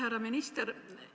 Härra minister!